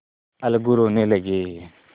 अलगू रोने लगे